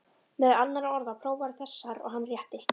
Meðal annarra orða, prófaðu þessar, og hann rétti